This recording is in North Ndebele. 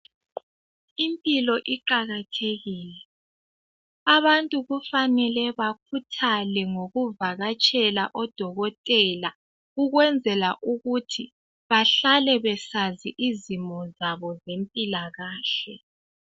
Impilo iqakathekile. Abantu kufanele bakhuthale ngokuvakatshela odokotela ukwenzela ukuthi bahlale besazi izimo zabo zempilakahle.